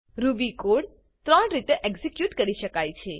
Ruby code 3 રીતે execute કરી શકાય છે